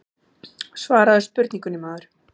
Svaraðu spurningunni maður.